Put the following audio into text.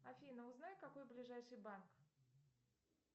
афина узнай какой ближайший банк